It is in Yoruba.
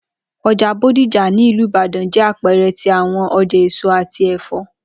Oja Bodija ni Ilu Ibadan, jẹ apẹẹrẹ ti awọn ọja eso ati ẹfọ.